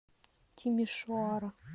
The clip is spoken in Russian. тимишоара